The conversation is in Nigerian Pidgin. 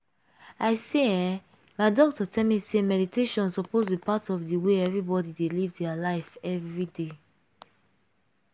i say eeh my doctor tell me say meditation suppose be part of de way everbody dey live dia life everyday.